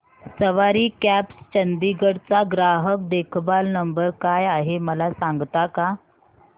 सवारी cabs Chandigarh चा ग्राहक देखभाल नंबर काय आहे मला सांगता का